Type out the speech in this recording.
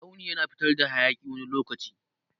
Tsauni yana fitar hayaki wani lokaci.